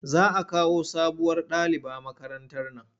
Za a kawo sabuwar daliba makarantar nan.